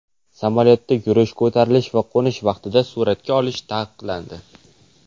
Samolyotda yurish, ko‘tarilish va qo‘nish vaqtida suratga olish taqiqlandi.